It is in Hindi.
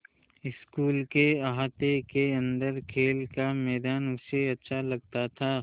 स्कूल के अहाते के अन्दर खेल का मैदान उसे अच्छा लगता था